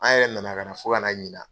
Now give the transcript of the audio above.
An yɛrɛ nana ka na fo ɲina.